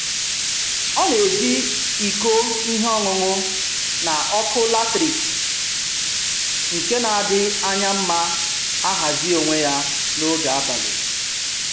Ọ na-eji iko ihe ọṅụṅụ na ọkụ latriki nke na-adị anya mma ahazi onwe ya n'oge abalị